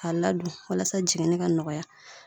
K'a ladon walasa jiginni ka nɔgɔya